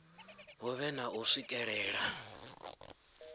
hu vhe na u swikelela